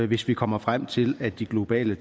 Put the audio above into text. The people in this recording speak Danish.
hvis vi kommer frem til at de globale